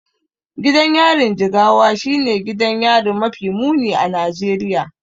Gidan yarin Jigawa shine gidan yari mafi muni a Najeriya.